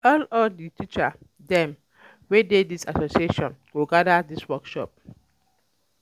All All di teacher dem wey dey dis association go at ten d dis workshop.